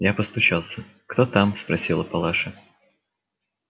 я постучался кто там спросила палаша